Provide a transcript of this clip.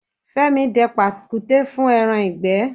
Fẹ́mi dẹ pàkúté fún ẹran ìgbẹ́.